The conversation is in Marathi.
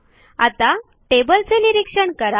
आता टेबल चे निरीक्षण करा